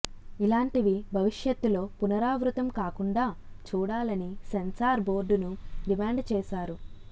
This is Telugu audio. ఇలాంటివి భవిష్యత్తులో పునరావృతం కాకుండా చూడాలని సెన్సార్ బోర్డును డిమాండ్ చేశారు